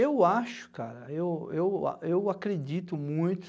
Eu acho, cara, eu eu eu acredito muito